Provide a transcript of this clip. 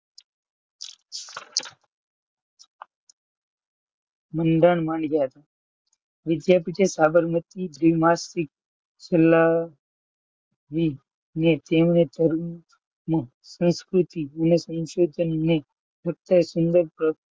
મંદાર મંજર વિધા પીઠયે સાબરમતી gymnastics ફેલાવી ને ધર્મ સંસ્કૃતિ અને સંશોધન ને ફક્ત સુંદર